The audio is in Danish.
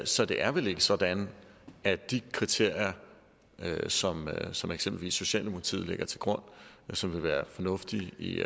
så det er vel ikke sådan at de kriterier som som eksempelvis socialdemokratiet lægger til grund som vil være fornuftige i